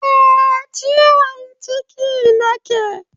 Eh, ciwon ciki nake